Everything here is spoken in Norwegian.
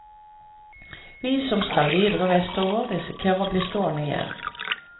Vi som skal videre vestover, risikerer å bli stående igjen.